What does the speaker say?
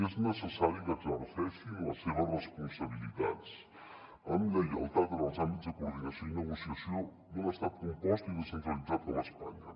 és necessari que exerceixin les seves responsabilitats amb lleialtat en els àmbits de coordinació i negociació d’un estat compost i descentralitzat com espa·nya